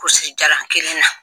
Kulusi jala kelen na